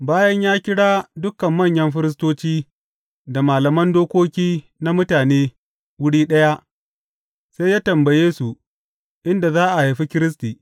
Bayan ya kira dukan manyan firistoci da malaman dokoki na mutane wuri ɗaya, sai ya tambaye su inda za a haifi Kiristi.